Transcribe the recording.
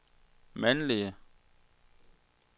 mandlige